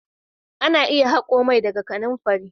Ana iya hako mai daga kananfari.